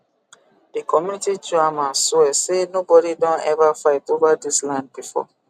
the community chairman swear say nobody don ever fight over dis land before